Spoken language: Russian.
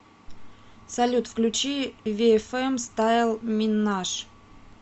салют включи виэфэм стайл минаж